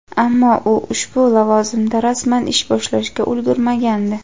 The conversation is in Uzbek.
ammo u ushbu lavozimda rasman ish boshlashga ulgurmagandi.